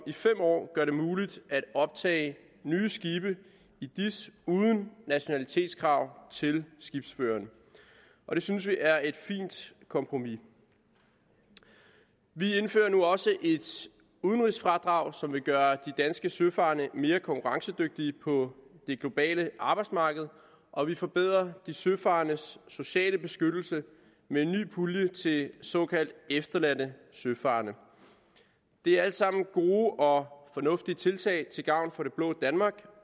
i fem år gør det muligt at optage nye skibe i dis uden nationalitetskrav til skibsføreren det synes vi er et fint kompromis vi indfører nu også et udenrigsfradrag som vil gøre de danske søfarende mere konkurrencedygtige på det globale arbejdsmarked og vi forbedrer de søfarendes sociale beskyttelse med en ny pulje til såkaldt efterladte søfarende det er alt sammen gode og fornuftige tiltag til gavn for det blå danmark